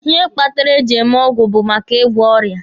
Ihe kpatara e ji eme ọgwụ bụ maka ị gwọ ọrịa.